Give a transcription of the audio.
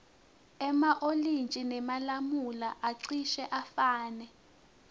ema olintji nemalamula acishe afane